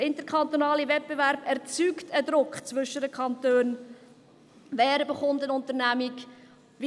Der interkantonale Wettbewerb erzeugt einen Druck zwischen den Kantonen, dahingehend, wer eine Unternehmung bekommt.